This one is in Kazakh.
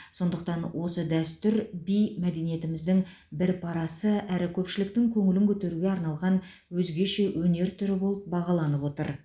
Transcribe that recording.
сондықтан осы дәстүр би мәдениетіміздің бір парасы әрі көпшіліктің көңілін көтеруге арналған өзгеше өнер түрі болып бағаланып отыр